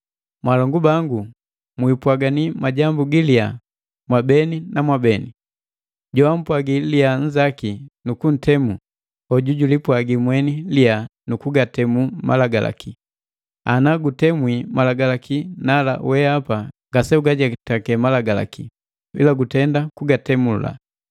Mwaalongu bangu, mwiipwagani majambu giliya mwabeni na beni. Joampwagi liyaa nnzaki nu kuntemu, hoju julipwagi mweni liya nukugatemu Malagalaki. Ana gutemwi Malagalaki, nala wehapa ngase ugajetake malagalaki, ila gutenda kugatemula.